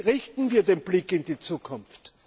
Richten wir den Blick in die Zukunft!